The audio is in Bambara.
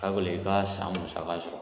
Ka gɔlɛn i ka san musaka sɔrɔ.